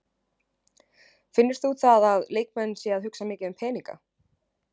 Finnur þú það að leikmenn séu að hugsa mikið um peninga?